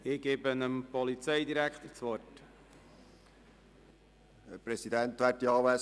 Ich erteile dem Polizeidirektor das Wort.